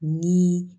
Ni